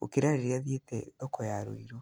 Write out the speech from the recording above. gũkĩra rĩrĩa thiĩte thoko ya Rũirũ.